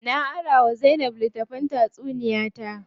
Na ara wa Zainab litttafin tatsuniya ta.